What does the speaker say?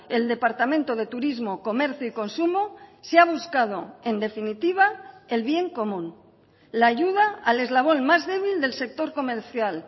el departamento de turismo comercio y consumo se ha buscado en definitiva el bien común la ayuda al eslabón más débil del sector comercial